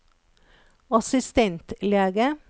assistentlege